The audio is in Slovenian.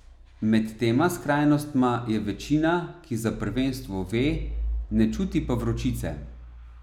Med tema skrajnostma je večina, ki za prvenstvo ve, ne čuti pa vročice.